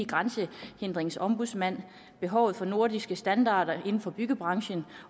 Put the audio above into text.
grænsehindringsombudsmand behovet for nordiske standarder inden for byggebranchen